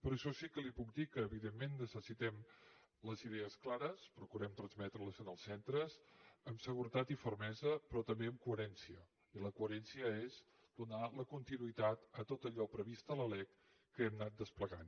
per això sí que li puc dir que evidentment necessitem les idees clares procurem transmetreles als centres amb seguretat i fermesa però també amb coherència i la coherència és donar la continuïtat a tot allò previst a la lec que hem anat desplegant